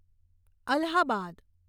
Allahabad